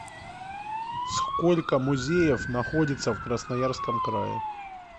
сколько музеев находится в красноярском крае